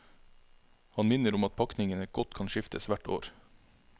Han minner om at pakningene godt kan skiftes hvert år.